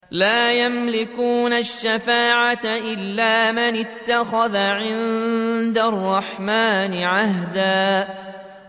لَّا يَمْلِكُونَ الشَّفَاعَةَ إِلَّا مَنِ اتَّخَذَ عِندَ الرَّحْمَٰنِ عَهْدًا